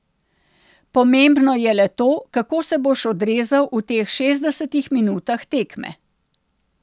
Pomembno je le to, kako se boš odrezal v teh šestdesetih minutah tekme.